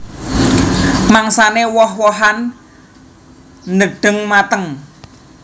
Mangsané woh wohan nedheng mateng